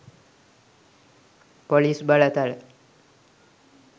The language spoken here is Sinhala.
පොලිස් බලතල